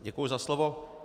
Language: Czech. Děkuji za slovo.